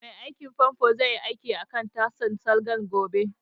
Mai aikin fanfo zai yi aikin akan tasan salgan gobe